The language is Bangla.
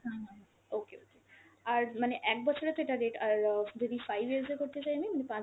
হুম হুম হুম okay okay, আর মানে এক বছরে তো এটা rate, আর অ যদি five years এ করতে চাই আমি, মানে পাঁচ